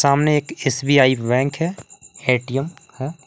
सामने एक SBI bank है ए_टी_एम है।